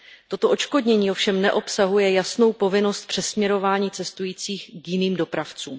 Toto odškodnění ovšem neobsahuje jasnou povinnost přesměrování cestujících k jiným dopravcům.